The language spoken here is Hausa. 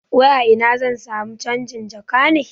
Wai a ina zan samu canjin jaka ne?